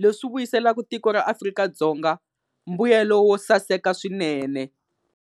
leswi vuyiselaku tiko ra Afrika-Dzonga mbuyelo wo saseka swinene.